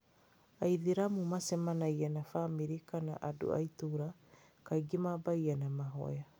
Aithĩramu macamania na bamĩrĩ kana andũ a itũũra, kaingĩ maambagia na mahoya.